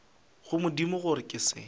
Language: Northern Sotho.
go modimo gore ke se